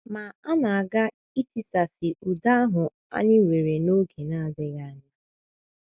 Ma a na - aga itisasị udo ahụ anyị nwere n’oge na - adịghị anya.